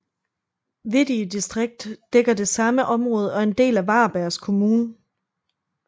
Veddige distrikt dækker det samme område og er en del af Varbergs kommun